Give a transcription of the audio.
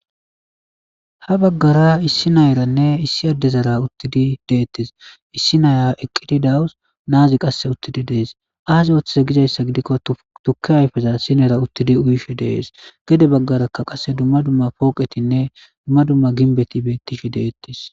ha baggara issi nayaranne issi addezara uttidi deettes issi naaya eqqidi dawus naazi qasse uttidi dees aasi ooththeze gizayssa gidikko tukke ayfeza sinera uttidi uyishi deees gede baggaraka qasse dumma dumma pooqetinne dumma dumma ginbeti beettishe deettes